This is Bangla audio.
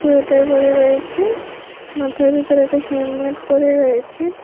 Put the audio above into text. সোয়েটার পরে রয়েছে মাথার ভিতর একটা হেমলেট পরে রয়েছে।